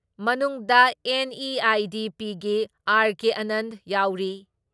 ꯃꯅꯨꯡꯗ ꯑꯦꯟ.ꯏ.ꯑꯥꯏ.ꯗꯤ.ꯄꯤꯒꯤ ꯑꯥꯔ.ꯀꯦ ꯑꯥꯅꯟꯗ ꯌꯥꯎꯔꯤ ꯫